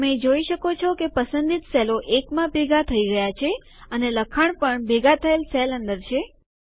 તમે જોઈ શકો છો કે પસંદિત સેલો એકમાં ભેગા થઇ ગયા છે અને લખાણ પણ ભેગા થયેલ સેલ અંદર છે